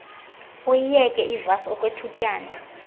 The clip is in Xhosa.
uyiyeke ivasi okwethutyana